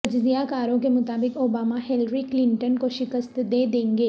تجزیہ کاروں کے مطابق اوبامہ ہیلری کلنٹن کو شکست دے دیں گے